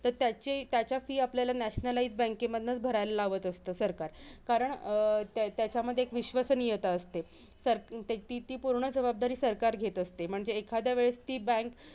तर त्याची त्याच्याशी आपल्याला nationalize bank मधनंचं भरायला लावत असतं, सरकार कारण अं त्याच्यामध्ये एक विश्वसनीयता असते. ती पूर्ण जबाबदारी सरकार घेत असते. म्हणजे एखादया वेळेस ती bank